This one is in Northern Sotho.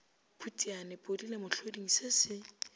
phutiane podile mohloding se se